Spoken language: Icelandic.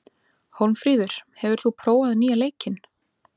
Hólmfríður, hefur þú prófað nýja leikinn?